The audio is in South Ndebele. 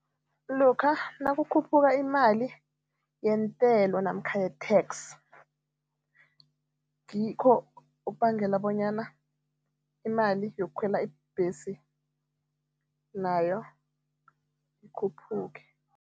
Lokha nakukhuphuka imali yentelo namkha ye-tax, ngikho okubangela bonyana imali yokukhwela ibhesi nayo ikhuphuke.